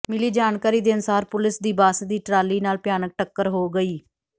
ਮਿਲੀ ਜਾਣਕਾਰੀ ਦੇ ਅਨੁਸਾਰ ਪੁਲਿਸ ਦੀ ਬੱਸ ਦੀ ਟਰਾਲੀ ਨਾਲ ਭਿਆਨਕ ਟੱਕਰ ਹੋ ਗਈ